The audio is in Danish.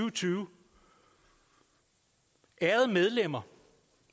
og tyve ærede medlemmer